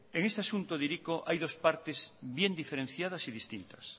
en este asunto de hiriko hay dos partes bien diferenciadas y distintas